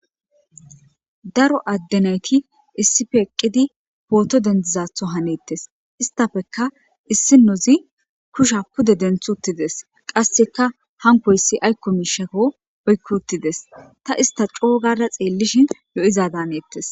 Daro adde nayti issippe eqqidi pooto dendizatho hanettes. Istappeka issinozi kusha pude denthi uttides qasseka hankoyssi aykko miishako oykki utides ta ista coogada xeellishin lo7iza danettes.